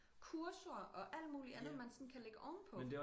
Kurser og alt muligt andet man sådan kan lægge ovenpå